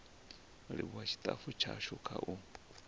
livhuwa tshitafu tshashu kha u